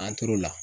An t'o la